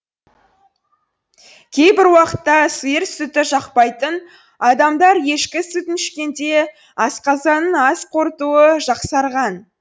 кейбір уақытта сиыр сүті жақпайтын адамдар ешкі сүтін ішкенде асқазанының ас қорытуы жақсарған